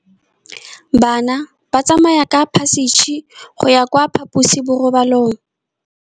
Bana ba tsamaya ka phašitshe go ya kwa phaposiborobalong.